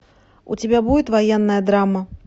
у тебя будет военная драма